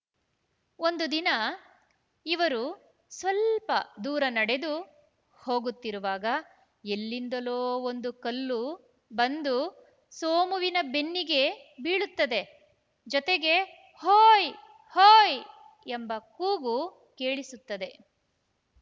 ಒಂದು ದಿನ ಇವರು ಸ್ವಲ್ಪ ದೂರ ನಡೆದು ಹೋಗುತ್ತಿರುವಾಗ ಎಲ್ಲಿಂದಲೋ ಒಂದು ಕಲ್ಲು ಬಂದು ಸೋಮುವಿನ ಬೆನ್ನಿಗೆ ಬೀಳುತ್ತದೆ ಜೊತೆಗೆ ಹೋಯ್‌ ಹೋಯ್‌ ಎಂಬ ಕೂಗು ಕೇಳಿಸುತ್ತದೆ